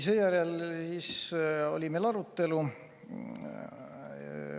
Seejärel oli meil arutelu.